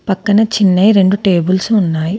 పక్కన చిన్నయి రెండు టేబుల్స్ ఉన్నాయి.